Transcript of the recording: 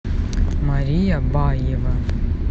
мария баева